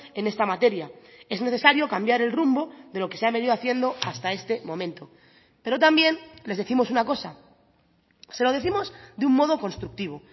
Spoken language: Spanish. en esta materia es necesario cambiar el rumbo de lo que se ha venido haciendo hasta este momento pero también les décimos una cosa se lo décimos de un modo constructivo